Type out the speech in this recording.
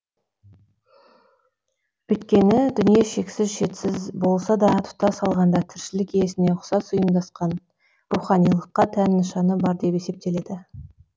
өйткені дүние шексіз шетсіз болса да тұтас алғанда тіршілік иесіне ұқсас ұйымдасқан руханилыққа тән нышаны бар деп есептеледі